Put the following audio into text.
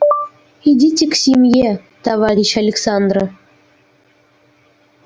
идите к семье товарищ александра